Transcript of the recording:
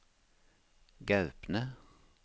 Gaupne